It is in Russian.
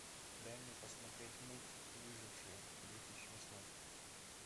дай мне посмотреть мульт выжившие две тысячи восьмой